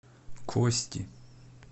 кости